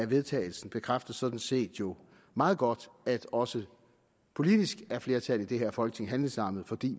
vedtagelse bekræfter jo sådan set meget godt at også politisk er flertallet i det her folketing handlingslammet fordi